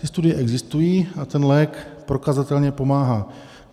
Ty studie existují a ten lék prokazatelně pomáhá.